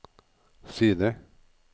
side